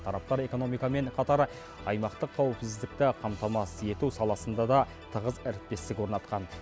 тараптар экономикамен қатар аймақтық қауіпсіздікті қамтамасыз ету саласында да тығыз әріптестік орнатқан